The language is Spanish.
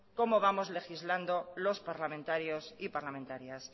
cómo vamos legislando los parlamentarios y parlamentarias